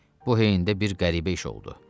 Bu heyndə bir qəribə iş oldu.